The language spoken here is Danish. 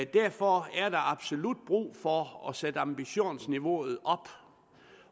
derfor er der absolut brug for at sætte ambitionsniveauet op